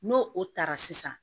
N'o o taara sisan